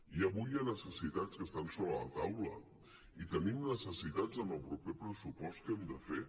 i avui hi ha necessitats que estan sobre la taula i tenim necessitats en el proper pressupost que hem de fer